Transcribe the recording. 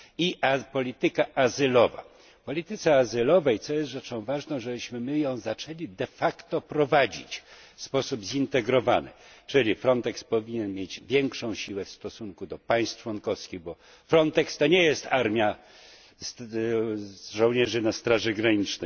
I polityka azylowa w polityce azylowej rzeczą ważną jest to, żebyśmy my ją zaczęli de facto prowadzić w sposób zintegrowany, czyli Frontex powinien mieć większe uprawnienia w stosunku do państw członkowskich, bo Frontex to nie jest armia żołnierzy na straży granic.